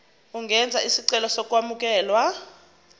ungenza isicelo sokwamukelwa